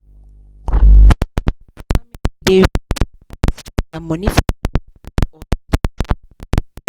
the smith family dey reason whether to spend their money for village land or city shop